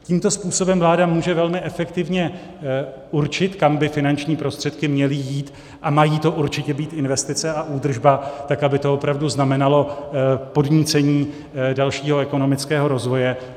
Tímto způsobem vláda může velmi efektivně určit, kam by finanční prostředky měly jít, a mají to určitě být investice a údržba, tak aby to opravdu znamenalo podnícení dalšího ekonomického rozvoje.